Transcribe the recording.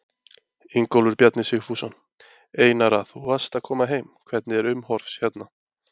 Ingólfur Bjarni Sigfússon: Einara þú varst að koma heim, hvernig er umhorfs hérna?